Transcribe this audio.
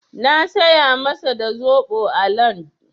Na saya masa da zaɓo a LandN.